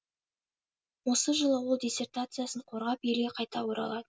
осы жылы ол диссертациясын қорғап елге қайта оралады